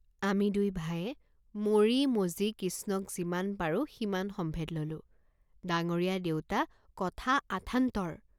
আমি দুই ভায়ে মৰি মজি কিষ্ণক যিমান পাৰো সিমান সম্ভেদ ল'লো, ডাঙৰীয়া দেউতা কথা আথান্তৰ!